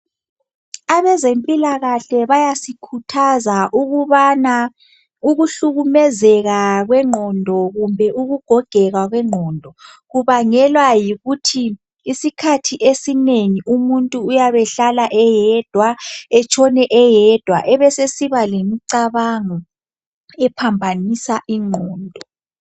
Abezempilakahle bayasikhuthaza ukubana ukuhlukumezeka kwengqondo kumbe ukugogeka kwengqondo kubangelwa yikuthi isikhathi esinengi umuntu uyab' ehlala eyedwa, etshone eyedwa, ebe sesiba lemicabango ephambanisa ingqondo.